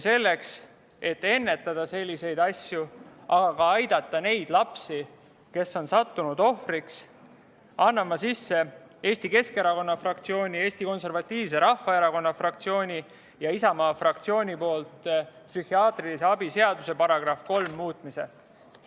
Selleks, et ennetada selliseid asju, aga ka aidata neid lapsi, kes on sattunud ohvriks, annan ma Eesti Keskerakonna fraktsiooni, Eesti Konservatiivse Rahvaerakonna fraktsiooni ja Isamaa fraktsiooni nimel üle psühhiaatrilise abi seaduse § 3 muutmise seaduse eenõu.